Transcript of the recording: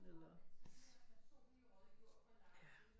Eller ja